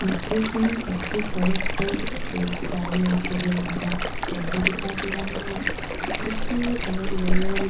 इस दृश्य में पक्की सड़क पर एक काले और पीले रंग का टेंपो दिखाई दे रहा है उसके अगल-बगल।